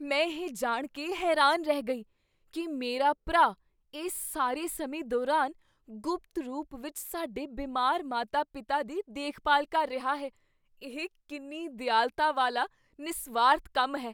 ਮੈਂ ਇਹ ਜਾਣ ਕੇ ਹੈਰਾਨ ਰਹਿ ਗਈ ਕੀ ਮੇਰਾ ਭਰਾ ਇਸ ਸਾਰੇ ਸਮੇਂ ਦੌਰਾਨ ਗੁਪਤ ਰੂਪ ਵਿੱਚ ਸਾਡੇ ਬਿਮਾਰ ਮਾਤਾ ਪਿਤਾ ਦੀ ਦੇਖਭਾਲ ਕਰ ਰਿਹਾ ਹੈ ਇਹ ਕਿੰਨੀ ਦਿਆਲਤਾ ਵਾਲਾ ਨਿਸਵਾਰਥ ਕੰਮ ਹੈ